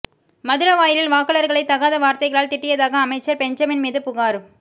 மதுரவாயலில் வாக்காளர்களை தகாத வார்த்தைகளால் திட்டியதாக அமைச்சர் பெஞ்சமின் மீது புகார்